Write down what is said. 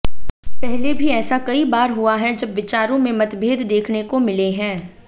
पहले भी ऐसा कई बार हुआ है जब विचारों में मतभेद देखने को मिले हैं